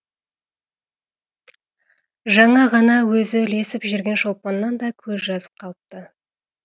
жаңа ғана өзі ілесіп жүрген шолпаннан да көз жазып қалыпты